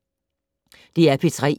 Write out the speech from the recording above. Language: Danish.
DR P3